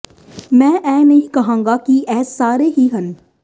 ਮੈਂ ਇਹ ਨਹੀਂ ਕਹਾਂਗਾ ਕਿ ਇਹ ਸਾਰੇ ਹੀ ਹਨ